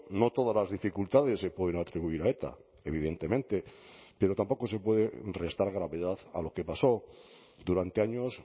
no todas las dificultades se pueden atribuir a eta evidentemente pero tampoco se puede restar gravedad a lo que pasó durante años